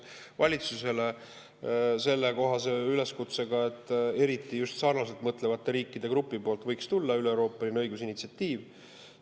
Me teeksime] valitsusele üleskutse, et eriti just sarnaselt mõtlevate riikide grupilt võiks tulla üleeuroopaline õigusinitsiatiiv.